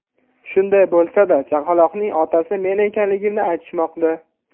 Shunday bo‘lsa-da, chaqaloqning otasi men ekanligimni aytishmoqda.